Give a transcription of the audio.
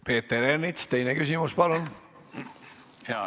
Peeter Ernits, teine küsimus, palun!